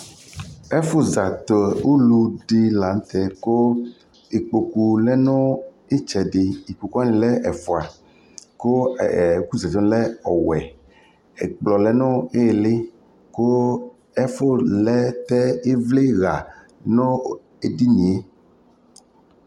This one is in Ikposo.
ɛƒʋ za tɛ ʋlʋ di lantɛ kʋ ikpɔkʋ lɛnʋ ɛtsɛdɛ, ikpɔkʋ wani lɛ ɛƒʋa kʋɛkʋ zati wani lɛ ɔwɛ, ɛkplɔ lɛnʋ ili kʋ ɛƒʋ lɛ ivli lanʋ ɛdiniɛ